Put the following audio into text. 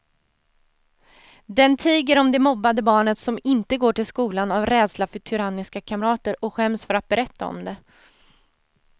Den tiger om det mobbade barnet som inte går till skolan av rädsla för tyranniska kamrater och skäms för att berätta om det.